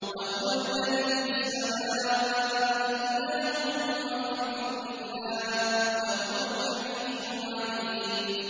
وَهُوَ الَّذِي فِي السَّمَاءِ إِلَٰهٌ وَفِي الْأَرْضِ إِلَٰهٌ ۚ وَهُوَ الْحَكِيمُ الْعَلِيمُ